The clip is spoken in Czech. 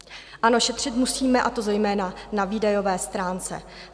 Ano, šetřit musíme, a to zejména na výdajové stránce.